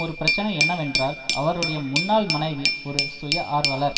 ஒரு பிரச்சினை என்னவென்றால் அவருடைய முன்னாள் மனைவி ஒரு சுயஆர்வலர்